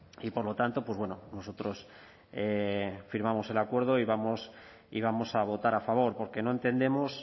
y por lo tanto pues bueno nosotros firmamos el acuerdo y vamos a votar a favor porque no entendemos